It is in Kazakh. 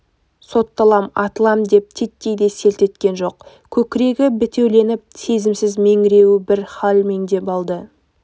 сотталам атылам деп титтей де селт еткен жоқ көкірегі бітеуленіп сезімсіз меңіреуі бір хал меңдеп алды